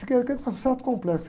Fiquei até com um certo complexo.